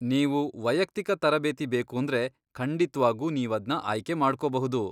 ನೀವು ವೈಯಕ್ತಿಕ ತರಬೇತಿ ಬೇಕೂಂದ್ರೆ ಖಂಡಿತ್ವಾಗೂ ನೀವದ್ನ ಆಯ್ಕೆ ಮಾಡ್ಕೋಬಹುದು.